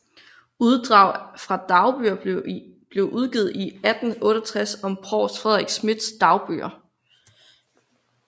Uddrag fra dagbøger blev udgivet i 1868 som Provst Fredrik Schmidts Dagbøger